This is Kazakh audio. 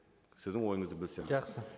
сіздің ойыңызды білсем жақсы